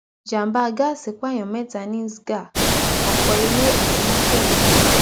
ìjàḿbà gáàsì pààyàn mẹta ni sgah ọpọ ilé àti mọtò ló jóná